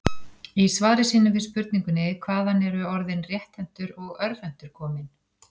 Í svari sínu við spurningunni Hvaðan eru orðin rétthentur og örvhentur komin?